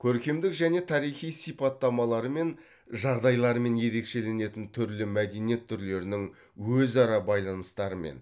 көркемдік және тарихи сипаттамаларымен жағдайларымен ерекшеленетін түрлі мәдениет түрлерінің өзара байланыстарымен